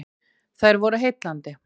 Þær voru heillandi.